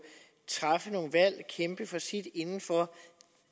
træffe nogle valg og kæmpe for sit inden for